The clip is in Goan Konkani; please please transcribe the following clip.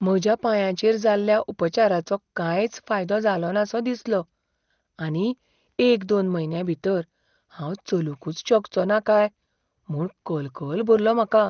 म्हज्या पांयाचेर जाल्ल्या उपचाराचो कांयच फायदो जालोनासो दिसलो आनी एक दोन म्हयन्यां भितर हांव चलूंकच शकचोना काय म्हूण कलकल भरलो म्हाका.